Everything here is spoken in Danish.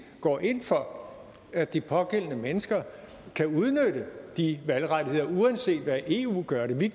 går ind for at de pågældende mennesker kan udnytte de valgrettigheder uanset hvad eu gør det